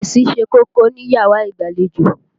Fèrèsé ṣe kókó níyàrá ìgbàlejò.